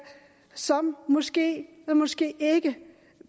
som måske og måske ikke